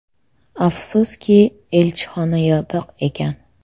Afsuski, elchixona yopiq ekan.